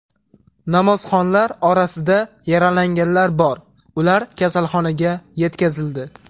Namozxonlar orasida yaralanganlar bor, ular kasalxonaga yetkazildi.